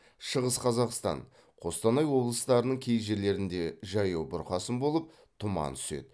шығыс қазақстан қостанай облыстарының кей жерлерінде жаяу бұрқасын болып тұман түседі